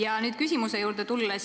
Aga nüüd küsimuse juurde.